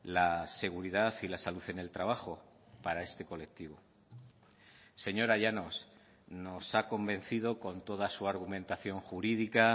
la seguridad y la salud en el trabajo para este colectivo señora llanos nos ha convencido con toda su argumentación jurídica